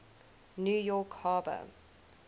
new york harbor